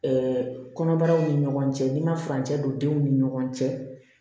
kɔnɔbaraw ni ɲɔgɔn cɛ n'i ma furancɛ don denw ni ɲɔgɔn cɛ